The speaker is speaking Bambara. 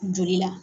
Joli la